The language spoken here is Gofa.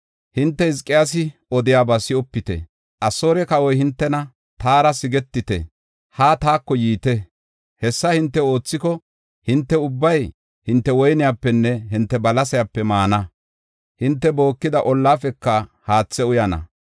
“Hinte Hizqiyaasi odiyaba si7opite. Asoore kawoy hintena, ‘Taara sigetite; haa taako yiite. Hessa hinte oothiko, hinte ubbay hinte woynepenne hinte balasepe maana; hinte bookida ollaafeka haathe uyana.